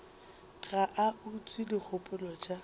ga a utswe dikgopolo tša